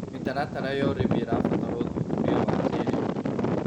Mĩtaratara ya ũrĩmĩ ĩrabatara ũthũthũrĩa wa kĩĩrĩũ